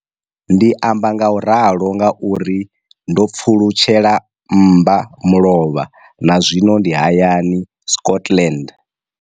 Ndi amba ngauralo nga uri ndo pfulutshela mmba mulovha na zwino ndi hayani, Scotland.